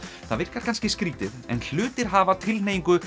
það virkar kannski skrítið en hlutir hafa